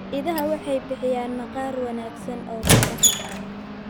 Idaha waxay bixiyaan maqaar wanaagsan oo kabaha.